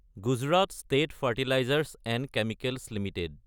Gujarat state fertilisers & chemicals Ltd